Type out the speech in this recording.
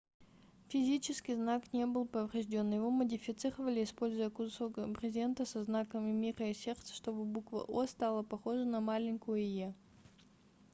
физически знак не был поврежден его модифицировали используя кусок брезента со знаками мира и сердца чтобы буква о стала похожа на маленькую е